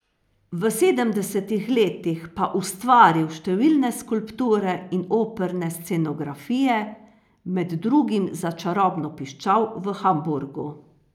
V sedemdesetih letih pa ustvaril številne skulpture in operne scenografije, med drugim za Čarobno piščal v Hamburgu.